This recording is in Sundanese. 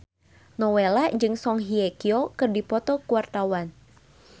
Nowela jeung Song Hye Kyo keur dipoto ku wartawan